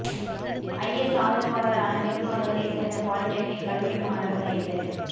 IS ஆதரவாளரான மேற்கு வங்கத்தை சேர்ந்த பாலிடெக்னிக் கல்லூரி மாணவர் கைது